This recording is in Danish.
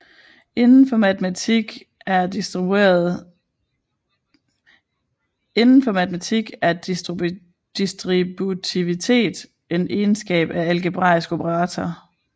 Inden for matematik er distributivitet en egenskab ved en algebraisk operator